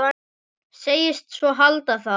Segist svo halda það.